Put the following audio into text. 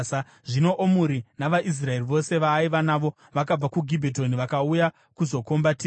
Zvino Omuri, navaIsraeri vose vaaiva navo, vakabva kuGibhetoni vakauya kuzokomba Tiza.